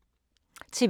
TV 2